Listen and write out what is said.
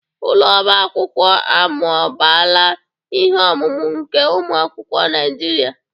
Ụlọ ọba akwụkwọ amụbaala ihe ọmụma nke ụmụ akwụkwọ Naijiria.